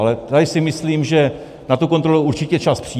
Ale tady si myslím, že na tu kontrolu určitě čas přijde.